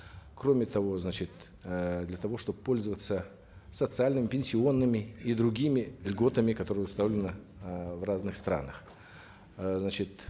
кроме того значит э для того чтобы пользоваться социальными пенсионными и другими льготами которые установлены э в разных странах э значит